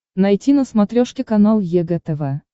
найти на смотрешке канал егэ тв